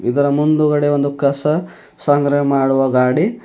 ಇದರ ಮುಂದುಗಡೆ ಒಂದು ಕಸ ಸಂಗ್ರಹ ಮಾಡುವ ಗಾಡಿ--